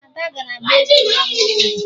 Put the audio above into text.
Ada gara gbaa egwu n'ama obodo